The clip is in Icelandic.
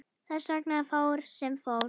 Þess vegna fór sem fór.